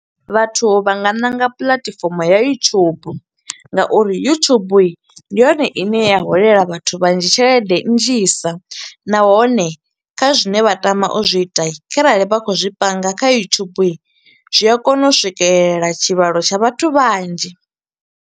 Vhathu vha nga ṋanga platform ya YouTube nga uri YouTube ndi yone i ne ya holela vhathu vhanzhi tshelede nnzhisa, nahone kha zwine vha tama u zwi ita kharali vha kho u zwi panga kha YouTube, zwi a kona u swikelela tshivhalo tsha vhathu vhanzhi.